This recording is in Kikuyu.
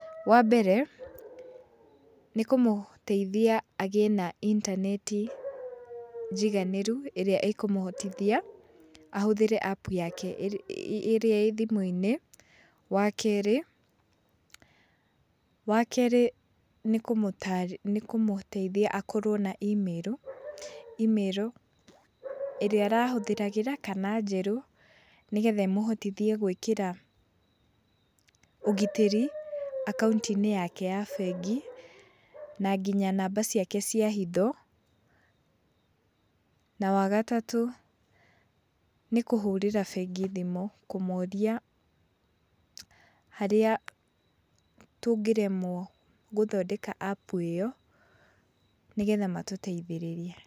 Wambere, nĩkũmũteithia agĩe na intaneti, njiganĩru, ĩrĩa ĩkũmũhotithia, ahũthĩre apu yake ĩrĩa ĩ thimũ-inĩ. Wakerĩ, wakerĩ nĩkũmũteithia akorũo na imĩrũ. Imĩrũ ĩrĩa arahũthĩragĩra kana njeru, nĩgetha ĩmũhotithie gũĩkĩra, ũgitĩri, akaunti-inĩ yake ya bengi, na nginya namba ciake cia hitho. Na wagatatũ nĩ kũhũrĩra bengi thimũ kũmoria harĩa tũngĩremwo gũthondeka apu ĩyo, nĩgetha matũteithĩrĩrie.